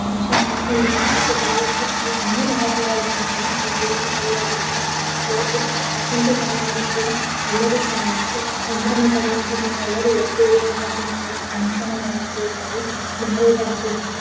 Function ಅನ್ನನಮ್ಮ ಭಾರತದಲ್ಲಿ ನಮ್ಮ ಭಾರತದಲ್ಲಿ ಅಂತ ಅಲ್ಲ ಅಲ್ ದೇಶದೆಲ್ಲಡೆ ಕೂಡ ಪ್ರಪಂಚ ದೆಲ್ಲಡೆ ಕೂಡ ಎಲ್ಲರು ಸಂಭ್ರಮ ಪಡುವ ದಿನ ಎಲ್ಲರು ಒಗ್ಗೂಡುವ ದಿನ ಫುನ್ಕ್ಷನ್ ಗಳಾಗಿರುತ್ತವೆ ಮ್ಯಾರೇಜ್ ಆಗಿರುತ್ತವೆ .